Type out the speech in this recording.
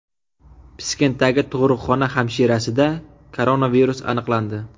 Piskentdagi tug‘ruqxona hamshirasida koronavirus aniqlandi.